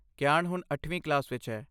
ਕੀਆਨ ਹੁਣ ਅੱਠਵੀਂ ਕਲਾਸ ਵਿੱਚ ਹੈ